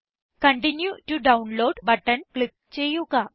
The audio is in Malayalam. continue to download button click ചെയ്യുക